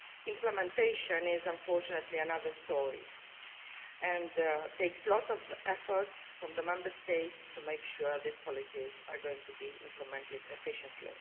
Implementation is, unfortunately, another story, and it will take a lot of effort by the Member States to make sure these policies are going to be implemented efficiently.